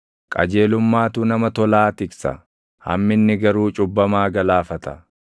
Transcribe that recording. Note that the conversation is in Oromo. Qajeelummaatu nama tolaa tiksa; hamminni garuu cubbamaa galaafata.